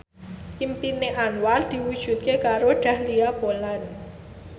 impine Anwar diwujudke karo Dahlia Poland